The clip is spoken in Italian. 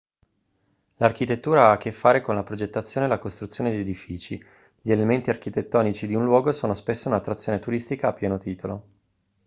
l'architettura ha a che fare con la progettazione e la costruzione di edifici gli elementi architettonici di un luogo sono spesso un'attrazione turistica a pieno titolo